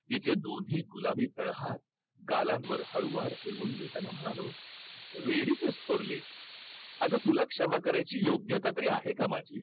तिचे दोन्ही गुलाबी तळहात गालांवर हळुवार फिरवून घेताना म्हणालो, वेडीच हायस अगं तुला क्षमा करायची योग्यता तरी आहे का माझी?